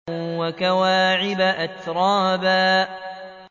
وَكَوَاعِبَ أَتْرَابًا